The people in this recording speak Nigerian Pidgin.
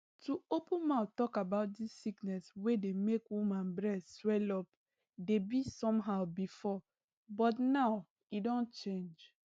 to open mouth talk about dis sickness wey dey make woman breast swellup dey be somehow before but now e don change